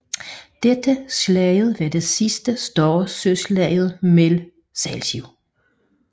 Dette slag var det sidste større søslag mellem sejlskibe